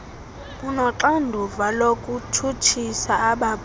unoxanduva lokutshutshisa abaphuli